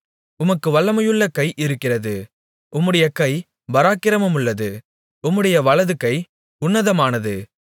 உமக்கு வல்லமையுள்ள கை இருக்கிறது உம்முடைய கை பராக்கிரமமுள்ளது உம்முடைய வலதுகை உன்னதமானது